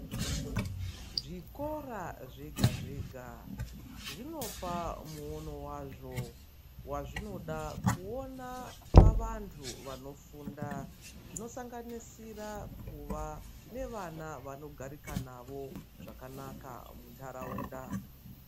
Zvikora zvegazvega zvinopa muono wazvo wazvinoda kuona pavanhu vanofunda zvinosanganisira kuva nevana vanogarika navo zvakanaka munharaunda.